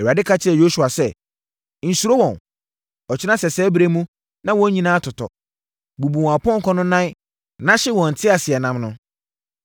Awurade ka kyerɛɛ Yosua sɛ, “Nsuro wɔn. Ɔkyena sɛsɛɛ berɛ mu na wɔn nyinaa atotɔ. Bubu wɔn apɔnkɔ no nan na hye wɔn nteaseɛnam no.”